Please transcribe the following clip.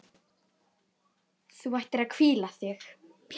Þú ættir að hvíla þig.